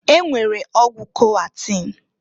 E nwere ọgwụ Koatem.